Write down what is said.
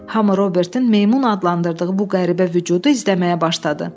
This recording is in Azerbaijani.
Hamı Robertin meymun adlandırdığı bu qəribə vücudu izləməyə başladı.